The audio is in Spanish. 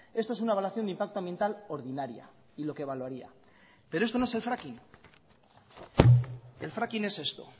esto es una evaluación de impacto ambiental ordinaria y lo que evaluaría pero esto no es el fracking el fracking es esto